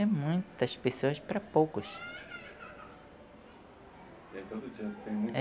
É muitas pessoas para poucos. E é todo dia tem muita